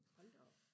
hold da op